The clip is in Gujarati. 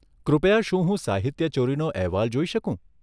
કૃપયા શું હું સાહિત્યચોરીનો અહેવાલ જોઈ શકું?